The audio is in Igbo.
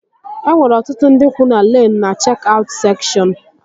E nwere ọtụtụ ndị kwuu na lain na chek-aut sekshọn